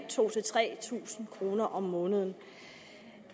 tusind tre tusind kroner om måneden